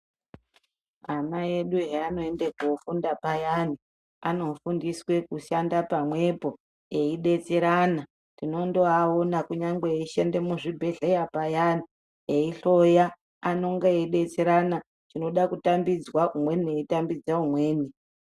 Ana edu eanoende kofunda payana anofundiswe kushanda pamwepo eidetserana tinondoano kunyangwe eishande muzvibhedhleya payani eihloya anonga eidetserana chinoda kutambidzwa umweni eitambidza umweni.